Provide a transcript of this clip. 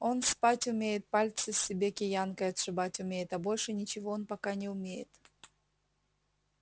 он спать умеет пальцы себе киянкой отшибать умеет а больше ничего он пока не умеет